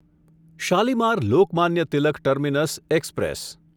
Shalimar Lokmanya Tilak terminus express